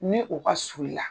Ni o ka suru i la.